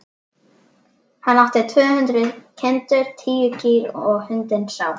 Hann átti tvö hundruð kindur, tíu kýr og hundinn Sám.